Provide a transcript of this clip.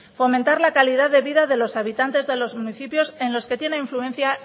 fomentar la calidad de vida de los habitantes de los municipios en los que tiene influencia